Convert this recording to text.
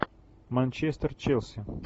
манчестер челси